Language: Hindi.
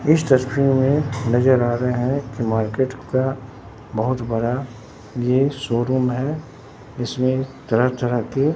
इस तस्वीर में नजर आ रहे हैं एक मार्केट का बहुत बड़ा यह शोरूम है इसमें तरह तरह की।